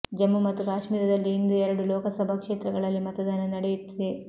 ಜಮ್ಮು ಮತ್ತು ಕಾಶ್ಮೀರದಲ್ಲಿ ಇಂದು ಎರಡು ಲೋಕಸಭಾ ಕ್ಷೇತ್ರಗಳಲ್ಲಿ ಮತದಾನ ನಡೆಯುತ್ತಿದೆ